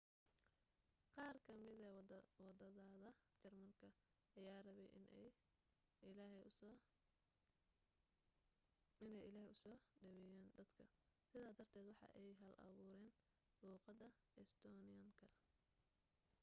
qaar ka mida wadaadada jarmalka ayaa rabay in ay ilaahey usoo dhaweeyan dadka sida darted waxa ay hal abuureyn luuqada estonian-ka